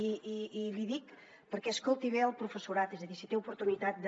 i l’hi dic perquè escolti bé el professorat és a dir si té oportunitat de